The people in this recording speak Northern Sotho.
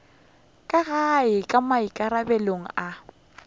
ka gae ke maikarabelo a